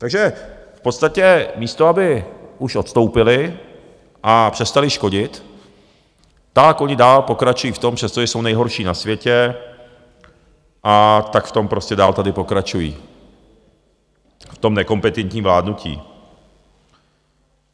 Takže v podstatě místo aby už odstoupili a přestali škodit, tak oni dál pokračují v tom, přestože jsou nejhorší na světě, a tak v tom prostě dál tady pokračují, v tom nekompetentním vládnutí.